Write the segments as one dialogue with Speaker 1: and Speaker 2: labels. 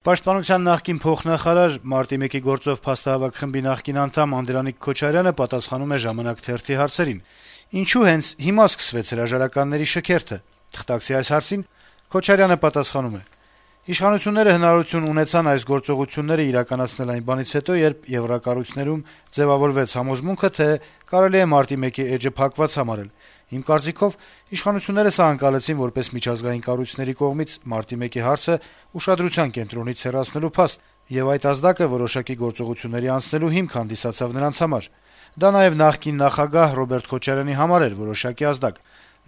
Speaker 1: Պաշտպանության նախկին փոխնախարար, Մարտի 1-ի գործով փաստահավաք խմբի նախկին անդամ Անդրանիկ Քոչարյանը պատասխանում է «Ժամանակ» թերթի հարցերին: Թղթակցի հարցին, թե ինչո՞ւ հենց հիմա սկսվեց հրաժարականների այդ շքերթը, Քոչարյանը պատասխանում է. - «Իշխանությունները հնարավորություն ունեցան այս գործողությունները իրականացնել այն բանից հետո, երբ եվրակառույցներում ձեւավորվեց այն համոզմունքը, թե կարելի է մարտի 1-ի էջը փակված համարել: Իմ կարծիքով` իշխանությունները սա ընկալեցին որպես միջազգային կառույցների կողմից Մարտի 1-ի հարցը ուշադրության կենտրոնից հեռացնելու փաստ, եւ այդ ազդակը որոշակի գործողությունների անցնելու հիմք հանդիսացավ նրանց համար: Դա նաեւ նախկին նախագահ` Ռոբերտ Քոչարյանի համար էր որոշակի ազդակ,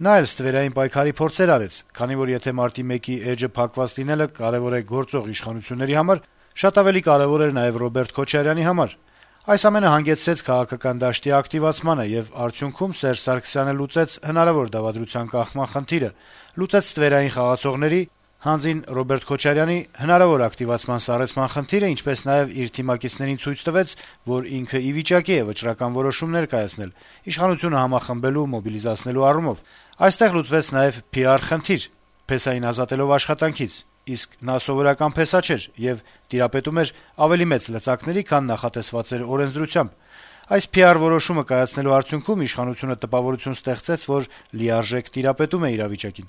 Speaker 1: նա էլ ստվերային պայքարի փորձեր արեց, քանի որ, եթե մարտի 1-ի էջի փակված լինելը կարեւոր է գործող իշխանության համար, շատ ավելի կարեւոր էր նաեւ Ռոբերտ Քոչարյանի համար: Այս ամենը հանգեցրեց քաղաքական դաշտի ակտիվացմանը, եւ արդյունքնում Սերժ Սարգսյանը լուծեց հնարավոր դավադության կանխման խնդիրը, լուծեց ստվերային խաղացողների` հանձին Ռոբերտ Քոչարյանի, հնարավոր ակտիվացման սառեցման խնդիրը, ինչպես նաեւ իր թիմակիցներին ցույց տվեց, որ ինքը ի վիճակի է վճռական որոշումներ կայացնել` իշխանությունը համախմբելու, մոբիլիզացնելու առումով: Այստեղ լուծեց նաեւ PR խնդիր` փեսային ազատելով աշխատանքից, իսկ նա սովորական փեսա չէր, եւ նա տիրապետում էր ավելի մեծ լծակների, քան նախատեսված էր օրենսդրությամբ: Այս PR որոշումը կայացնելու արդյունքում իշխանությունը տպավորություն ստեղծեց, որ լիարժեք տիրապետում է իրավիճակը»: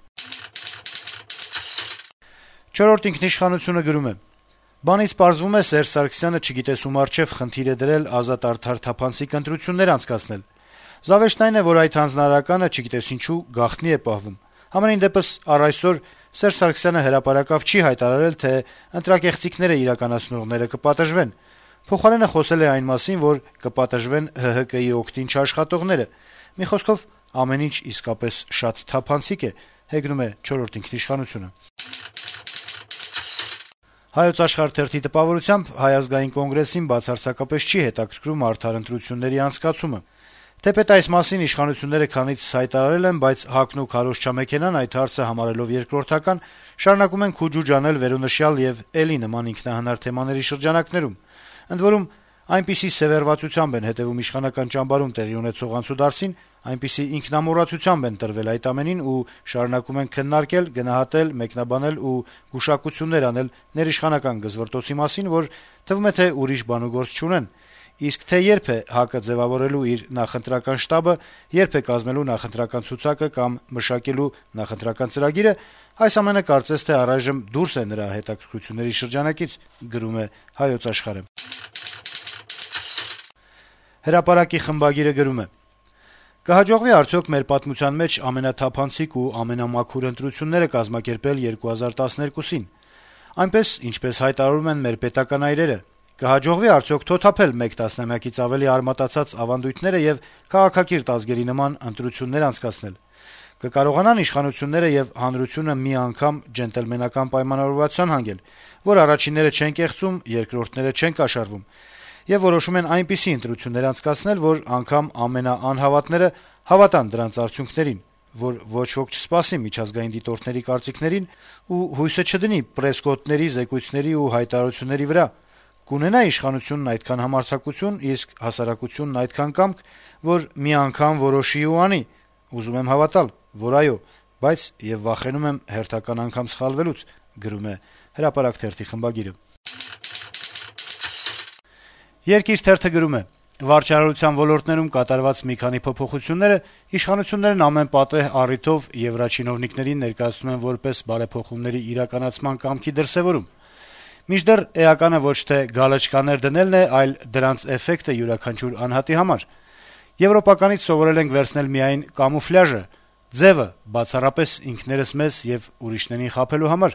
Speaker 1: «Չորրորդ ինքնիշխանություն»-ը գրում է. - «Բանից պարզվում է` Սերժ Սարգսյանը չգիտես ում առջեւ խնդիր է դրել ազատ-արդար-թափանցիկ ընտրություններ անցկացնել։ Զավեշտն այն է, որ այդ «հանձնարարականը», չգիտես ինչու, գաղտնի է պահվում։ Համենայն դեպս` առ այսօր Սերժ Սարգսյանը հրապարակավ չի հայտարարել, թե ընտրակեղծիքներ իրականացնողները կպատժվեն։ Փոխարենը` խոսել է այն մասին, որ կպատժվեն ՀՀԿ-ի օգտին չաշխատողները։ Մի խոսքով` ամեն ինչ իսկապես շատ թափանցիկ է»։ «Հայոց աշխարհ» թերթի տպավորությամբ, ՀԱԿ-ին «բացարձակապես չի հետաքրքրում արդար ընտրությունների անցկացումը». - «Թեպետ այս մասին իշխանությունները քանիցս հայտարարել են, բայց ՀԱԿ-ն ու քարոզչամեքենան, այդ հարցը համարելով երկրորդական, շարունակում են «քուջուջ անել» վերոնշյալ եւ էլի նման ինքնահնար թեմաների շրջանակներում: Ընդ որում՝ այնպիսի սեւեռվածությամբ են հետեւում իշխանական ճամբարում տեղի ունեցող անցուդարձին, այնպիսի ինքնամոռացությամբ են տրվել այդ ամենին ու շարունակում են քննարկել, գնահատել, մեկնաբանել ու գուշակություններ անել ներիշխանական «գզվռտոցի» մասին, որ թվում է, թե ուրիշ բանուգործ չունեն: Իսկ թե երբ է ՀԱԿ-ը ձեւավորելու իր նախընտրական շտաբը, երբ է կազմելու նախընտրական ցուցակը կամ մշակելու նախընտրական ծրագիրը, այս ամենը կարծես թե առայժմ դուրս է նրա հետաքրքրությունների շրջանակից»: «Հրապարակ»-ի խմբագիրը գրում է. - «Կհաջողվի՞ արդյոք մեր պատմության մեջ ամենաթափանցիկ ու ամենամաքուր ընտրությունները կազմակերպել 2012-ին` այնպես, ինչպես հայտարարում են մեր պետական այրերը: Կհաջողվի՞ արդյոք թոթափել մեկ տասնամյակից ավելի արմատացած ավանդույթները եւ քաղաքակիրթ ազգերի նման ընտրություններ անցկացնել: Կկարողանա՞ն իշխանությունները եւ հանրությունը մի անգամ «ջենտլմենական» պայմանավորվածության հանգել, որ առաջինները չեն կեղծում, երկրորդները չեն կաշառվում: Եվ որոշում են այնպիսի ընտրություններ անցկացնել, որ անգամ ամենաանհավատները հավատան դրանց արդյունքներին, որ ոչ ոք չսպասի միջազգային դիտորդների կարծիքներին ու հույսը չդնի պրեսկոտների զեկույցների ու հայտարարությունների վրա: Կունենա՞ իշխանությունն այդքան համարձակություն, իսկ հասարակությունն այդքան կամք, որ մի անգամ որոշի ու անի: Ուզում եմ հավատալ, որ` այո: Բայց եւ վախենում եմ հերթական անգամ սխալվելուց»: «Երկիր»-ը գրում է. - «Վարչարարության ոլորտներում կատարված մի քանի փոփոխությունները իշխանություններն ամեն պատեհ առիթով եվրաչինովնիկներին ներկայացնում են որպես բարեփոխումների իրականացման կամքի դրսեւորում։ Մինչդեռ, էականը ոչ թե «գալչկաներ» դնելն է, այլ դրանց էֆեկտը յուրաքանչյուր անհատի համար»։ «Եվրոպականից սովորել ենք վերցնել միայն կամուֆլյաժը, ձեւը` բացառապես ինքներս մեզ ու ուրիշներին խաբելու համար»: